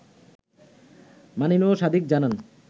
মানিনু সাদিক জানান